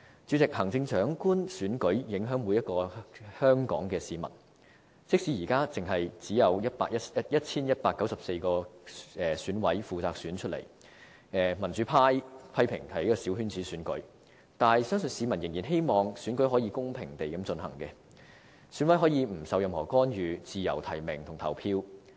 主席，行政長官選舉影響每一名香港市民，即使現在只由 1,194 名選舉委員會委員負責選出，民主派批評是小圈子選舉，但相信市民仍然希望選舉可以公平地進行，選委可以不受任何干預，自由提名和投票。